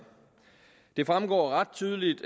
det fremgår ret tydeligt